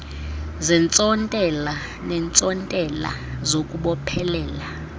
zeentsontela neentsontela zokubophelela